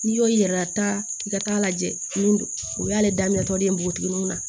N'i y'o yir'i la taa i ka taa lajɛ min don o y'ale daminɛ tɔ de ye npogotigininw na